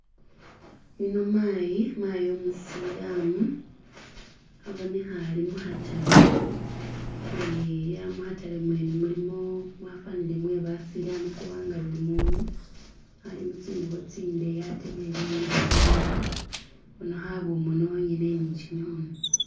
yuno mayi, mayi umusilamu aboneha alimuhatale ni muhatale mwene mulimu mwafanile mwebasilamu kubanga bulimundu alimutsingubo tsindeyi ate befunihile imurwe ubonahu abumoni onyene ni kyimihono